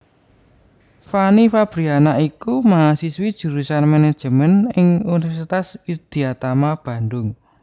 Fanny Fabriana iku mahasiswi jurusan Manajemen ing Universitas Widyatama Bandung